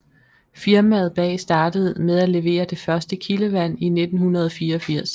Firmaet bag startede med at levere det første kildevand i 1984